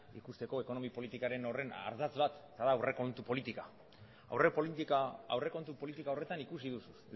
ikusteko ekonomi politika horren ardatz bat eta da aurrekontu politika aurrekontu politika horretan ikusi duzu